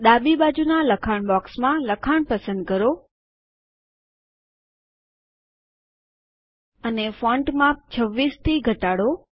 ડાબી બાજુના લખાણ બોક્સમાં લખાણ પસંદ કરો અને ફોન્ટ માપ 26 થી ઘટાડો